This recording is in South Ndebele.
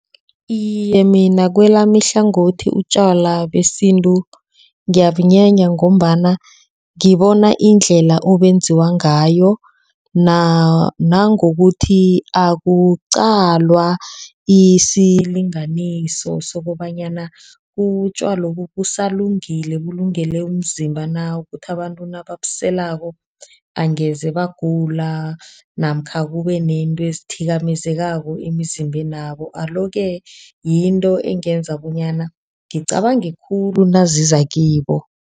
Iye mina kwelami ihlangothi utjwala besintu ngiyabunyanya ngombana ngibona indlela obenziwa ngayo. Nangokuthi akuqalwa isilinganiso sokobanyana utjwalobu busalungile. Bulungele umzimba na, ukuthi abantu nababuselako angeze bagula namkha kube nento ekhithikako eyenzekako emizimbeni nabo. Alo-ke yinto engenza bonyana ngicabange khulu naziza kibo.